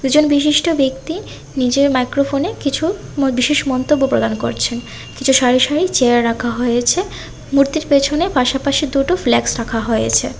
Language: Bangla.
একজন বিশিষ্ট ব্যক্তি নিজের মাইক্রোফোনে কিছু বিশেষ মন্তব্য প্রদান করছেন কিছু সারি সারি চেয়ার রাখা হয়েছে মূর্তির পেছনে পাশাপাশি দুটো ফ্ল্যাক্স রাখা হয়েছে।